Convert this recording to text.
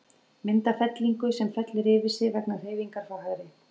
Mynd af fellingu, sem fellur yfir sig vegna hreyfingar frá hægri.